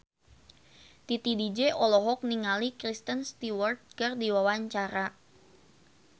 Titi DJ olohok ningali Kristen Stewart keur diwawancara